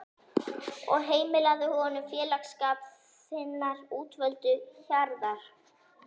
og heimilaðu honum félagsskap þinnar útvöldu hjarðar.